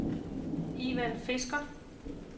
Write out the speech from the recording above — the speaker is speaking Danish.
Ivan Fisker